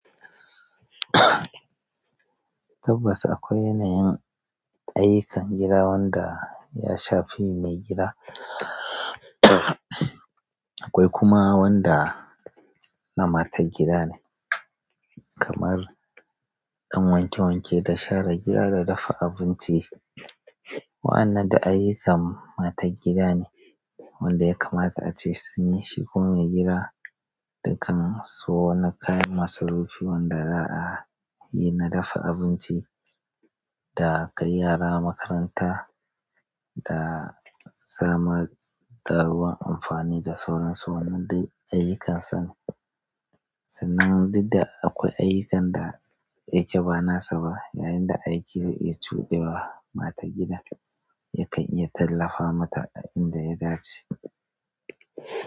Tabbas akwai yanayin ayyukan gida wanda ya shafi mai gida akwai kuma wanda na matar gida ne, kamar ɗan wanke wanke da share gida da dafa abinci. Wa'annan duk ayyukan matar gida ne wanda ya kamata ace sun yi shi ko mai gida. Dukkan wasu na kayan masu rufi wanda za'a yi na dafa abinci da kai yara makaranta da zama da ruwan amfani da sauran su wannan dai ayyukansa ne. Sannan duk da akwai ayyukan da yake ba nasa ba, yayin da aiki ya cudewa matar gida yakan iya tallafa mata a inda ya dace.